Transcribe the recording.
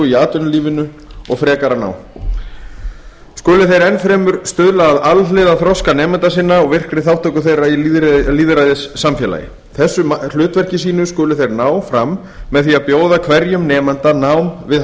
í atvinnulífinu og frekara nám skuli þeir enn fremur stuðla að alhliða þroska nemenda sinna og virkri þátttöku þeirra í lýðræðissamfélagi þessu hlutverki mínum skulu þeir ná fram með því að bjóða hverjum nemanda nám við